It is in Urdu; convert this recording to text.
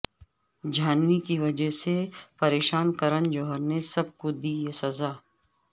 جھانوی کی وجہ سے پریشان کرن جوہر نے سب کو دی یہ سزا